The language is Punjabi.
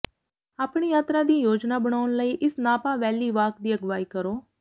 ਆਪਣੀ ਯਾਤਰਾ ਦੀ ਯੋਜਨਾ ਬਣਾਉਣ ਲਈ ਇਸ ਨਾਪਾ ਵੈਲੀ ਵਾਕ ਦੀ ਅਗਵਾਈ ਕਰੋ